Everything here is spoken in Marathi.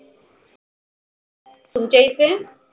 तुमच्या इथे